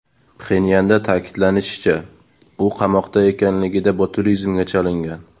Pxenyanda ta’kidlanishicha, u qamoqda ekanligida botulizmga chalingan.